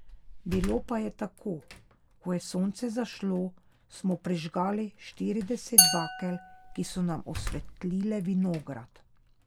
Bilo pa je tako: 'Ko je sonce zašlo, smo prižgali štirideset bakel, ki so nam osvetlile vinograd.